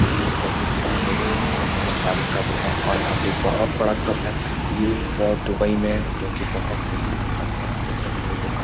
ये एक कब्रिस्तान है जहाँ पे सब बहुत सारे कब्र हैं और यहाँ पे बहुत बड़ा कब्र है ये अ दुबई में है जो की बहुत भयानक कब्र है यहाँ पे सभी लोगो का ।